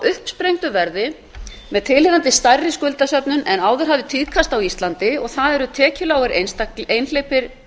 uppsprengdu verði með tilheyrandi stærri skuldasöfnun en áður hafði tíðkast á íslandi og það eru tekjulágir einhleypir